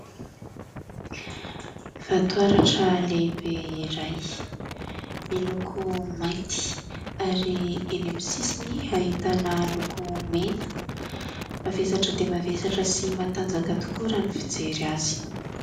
Vatoaratra lehibe iray, miloko mainty ary eny amin'ny sisiny ahitana loko mena, mavesatra dia mavesatra sy matanjaka tokoa raha ny fijery azy.